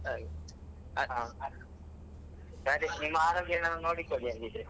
ಹಾಗೆ ಹಾ ರಾಜೇಶ್ ನಿಮ್ಮ ಆರೋಗ್ಯವನ್ನು ನೋಡಿಕೊಳ್ಳಿ ಹಾಗಿದ್ರೆ.